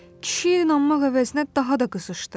Kişi inanmaq əvəzinə daha da qızışdı.